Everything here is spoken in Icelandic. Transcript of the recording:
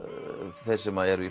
þeir sem eru